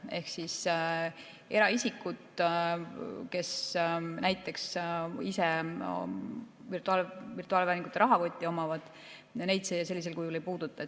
Ehk eraisikuid, kes näiteks virtuaalvääringute rahakotti omavad, see sellisel kujul ei puuduta.